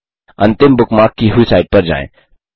अंतिम बुकमार्क की हुई साइट पर जाएं